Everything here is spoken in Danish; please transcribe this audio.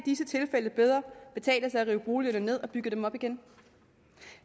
disse tilfælde bedre betale sig at rive boligerne ned og bygge dem op igen